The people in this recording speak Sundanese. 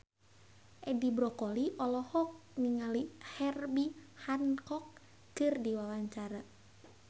Edi Brokoli olohok ningali Herbie Hancock keur diwawancara